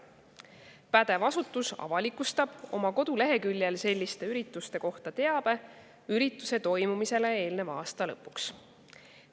Pädev asutus avalikustab oma koduleheküljel selliste ürituste kohta teabe ürituse toimumisele eelneva aasta lõpuks.